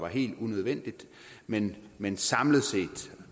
helt unødvendig men men samlet set